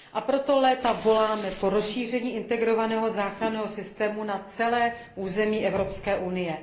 A proto léta voláme po rozšíření integrovaného záchranného systému na celé území Evropské unie.